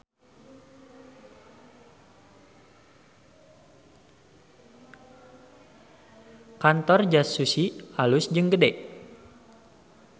Kantor Just Sushi alus jeung gede